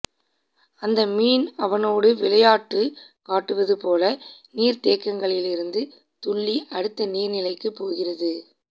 அந்த மீன் அவனோடு விளையாட்டு காட்டுவது போல நீர்த்தேக்கத்திலிருந்து துள்ளி அடுத்த நீர்நிலைகளுக்கு போகிறது